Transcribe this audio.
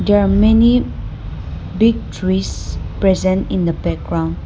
There a many big trees present in the background.